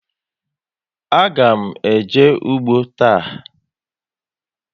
A ga m eje ụgbọ taa